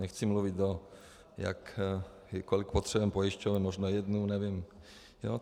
Nechci mluvit o tom, kolik potřebujeme pojišťoven, možná jednu, nevím.